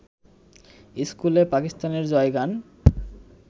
ইস্কুলে পাকিস্তানের জয়গান